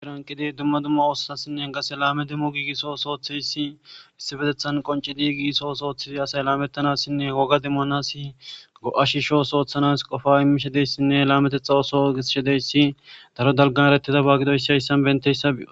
iranqidi dumma dumma oossasinne gase laame demmo giigisso sooththeyssi issibetethan qonci digisso sooththizi asay laamettanassinne woga demmonasi go7ashishos ooththanas qofa immishedeyssinne laametexa oso geshedeyssi daro dalga eretida baagidoyissiayssan benteyssa bi7o